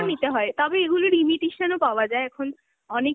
নিতে হয়, তবে এগুলোর imitation ও পাওয়া যায় এখন, অনেক